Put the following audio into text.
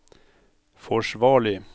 forsvarlig